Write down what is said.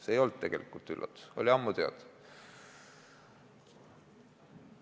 See ei olnud tegelikult üllatus, see oli ammu teada.